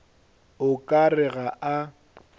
o ka re ga a